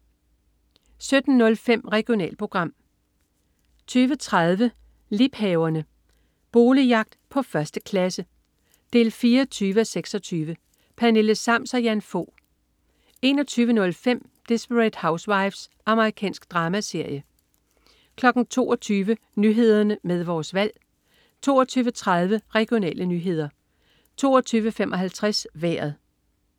17.05 Regionalprogram 20.30 Liebhaverne. Boligjagt på 1. klasse 24:26. Pernille Sams og Jan Fog 21.05 Desperate Housewives. Amerikansk dramaserie 22.00 Nyhederne med Vores Valg 22.30 Regionale nyheder 22.55 Vejret